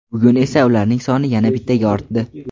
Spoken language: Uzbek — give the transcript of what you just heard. bugun esa ularning soni yana bittaga ortdi.